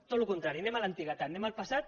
tot el contrari anem a l’antiguitat anem al passat